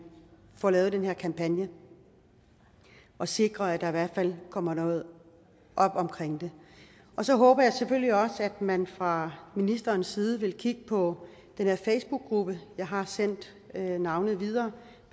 får lavet den her kampagne og sikrer at der i hvert fald kommer noget op omkring det og så håber jeg selvfølgelig også at man fra ministerens side vil kigge på den her facebookgruppe jeg har sendt navnet videre